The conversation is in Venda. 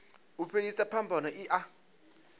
u fhelisa phambano i a